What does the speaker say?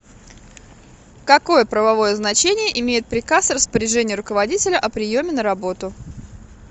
какое правовое значение имеет приказ распоряжение руководителя о приеме на работу